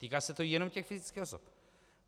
Týká se to jenom těch fyzických osob.